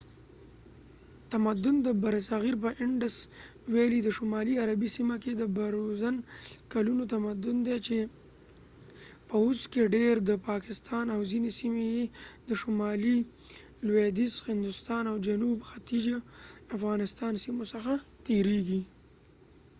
د indus valley تمدن د برصغیر په شمالي غربي سیمه کې د برونز کلونو تمدن دی چې په اوس کې ډیر د پاکستان او ځینې سیمې یې د شمالي لویدیځ هندوستان او جنوب ختیځ افغانستان سیمو څخه تیریږي